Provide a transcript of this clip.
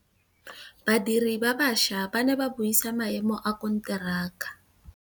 Badiri ba baša ba ne ba buisa maêmô a konteraka.